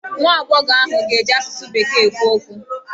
Nwa agbọghọ ahụ ga-eji asụsụ bekee ekwu okwu.